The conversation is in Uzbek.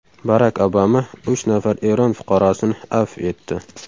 Barak Obama uch nafar Eron fuqarosini afv etdi.